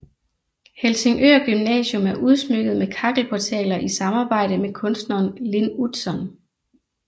Helsingør Gymnasium er udsmykket med kakkelportaler i samarbejde med kunstneren Lin Utzon